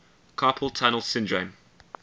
carpal tunnel syndrome